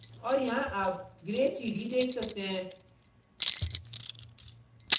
और यहाँ आप grays सीढ़ी देख सकते हैं